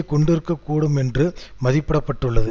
கொண்டிருக்க கூடும் என்று மதிப்பிட பட்டுள்ளது